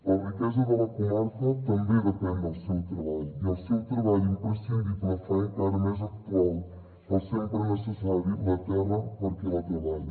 la riquesa de la comarca també depèn del seu treball i el seu treball imprescindible fa encara més actual el sempre necessari la terra per a qui la treballa